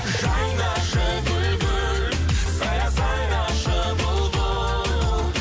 жайнашы гүл гүл сайра сайрашы бұлбұл